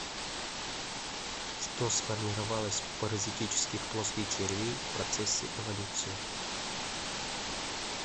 что сформировалось у паразитических плоских червей в процессе эволюции